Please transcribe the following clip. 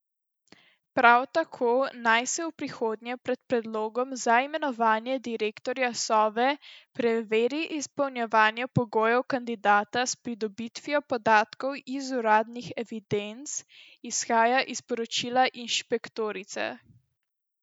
Prav tako naj se v prihodnje pred predlogom za imenovanje direktorja Sove preveri izpolnjevanje pogojev kandidata s pridobitvijo podatkov iz uradnih evidenc, izhaja iz poročila inšpektorice.